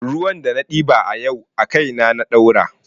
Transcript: Ruwan da na ɗiba a yau a kaina na ɗaura